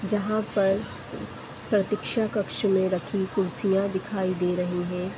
जहाँ पर प्रतीक्षा कक्ष में रखी कुर्सियाँ दिखाई दे रहीं हैं।